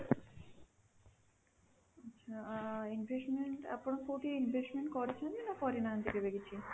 ଆଚ୍ଛା, investment ଆପଣ କୋଉଠି investment କରିଛନ୍ତି ନା କରିନାହାନ୍ତି କେବେ କିଛି?